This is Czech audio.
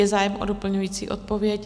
Je zájem o doplňující odpověď?